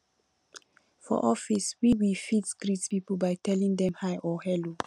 for office we we fit greet pipo by telling dem hi or hello